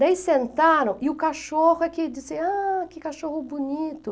Daí sentaram e o cachorro aqui disse, ah, que cachorro bonito.